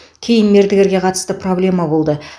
кейін мердігерге қатысты проблема болды